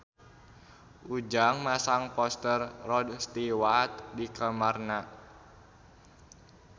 Ujang masang poster Rod Stewart di kamarna